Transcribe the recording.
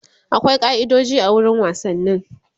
akwai kai'idoji a wurin wasanni